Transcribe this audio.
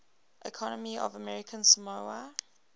economy of american samoa